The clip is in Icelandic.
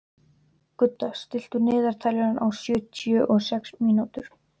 Gudda, stilltu niðurteljara á sjötíu og sex mínútur.